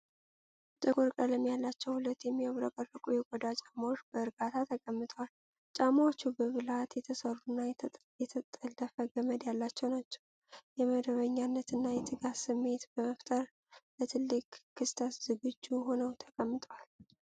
ጥቁር ቀለም ያላቸው ሁለት የሚያብረቀርቁ የቆዳ ጫማዎች በእርጋታ ተቀምጠዋል። ጫማዎቹ በብልሃት የተሰሩና የተጠለፈ ገመድ ያላቸው ናቸው፣ የመደበኛነት እና የትጋት ስሜት በመፍጠር ለትልቅ ክስተት ዝግጁ ሆነው ተቀምጠዋል።